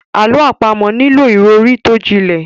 Àlọ́ àpamọ̀ nílò ìròrí tó jinlẹ̀.